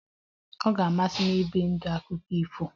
Ọ ga-amasị m ibi ndụ akụkọ ifo